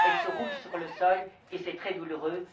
Elles se roulent sur le sol et c'est très douloureux.